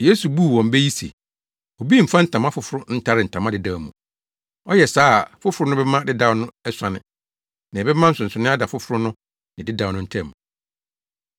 Yesu buu wɔn bɛ yi se, “Obi mfa ntama foforo ntare ntama dedaw mu. Ɔyɛ saa a foforo no bɛma dedaw no asuane. Na ɛbɛma nsonoe ada foforo no ne dedaw no ntam.